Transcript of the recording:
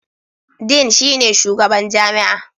Dean shine shugaban jami'a.